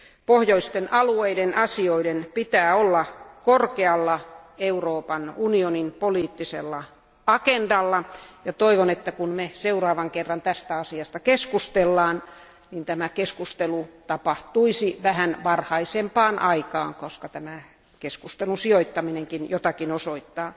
Pohjoisten alueiden asioiden pitää olla korkealla Euroopan unionin poliittisella agendalla, ja toivon, että kun me seuraavan kerran tästä asiasta keskustelemme, niin tämä keskustelu tapahtuisi vähän varhaisempaan aikaan, koska tämä keskustelun sijoittaminenkin jotakin osoittaa.